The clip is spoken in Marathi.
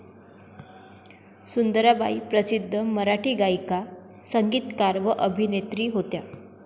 सुंदराबाई प्रसिध्द मराठी गायिका, संगीतकार व अभिनत्री होत्या.